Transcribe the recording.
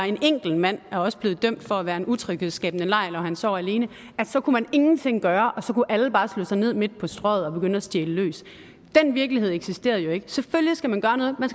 en enkelt mand er også blevet dømt for at være en utryghedsskabende lejr når han sov alene så kunne man ingenting gøre og så kunne alle bare slå sig ned midt på strøget og begynde at stjæle løs den virkelighed eksisterede jo ikke selvfølgelig skal man gøre noget man